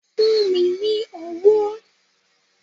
Fún mi ní owó!